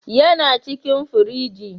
yana cikin firiji